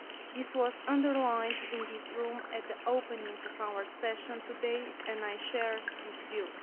This was underlined in this room at the opening of our session today and I share this view.